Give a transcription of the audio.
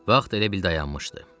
Vaxt elə bil dayanmışdı.